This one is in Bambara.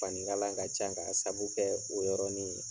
Fani kala ka ca ka sabu kɛ o yɔrɔni ye.